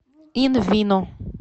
ин вино